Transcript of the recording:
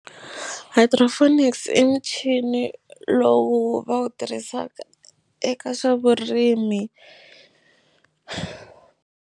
Hydroponics i michini lowu va wu tirhisaka eka swa vurimi.